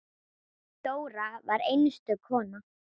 Dóra var einstök kona.